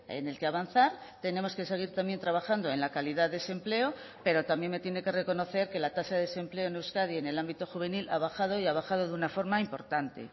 en el que avanzar tenemos que seguir también trabajando en la calidad de ese empleo pero también me tiene que reconocer que la tasa de desempleo en euskadi en el ámbito juvenil ha bajado y ha bajado de una forma importante